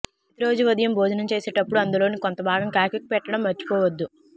ప్రతిరోజూ ఉదయం భోజనం చేసేటప్పుడు అందులోని కొంతభాగం కాకికి పెట్టడం మరచిపోవద్దు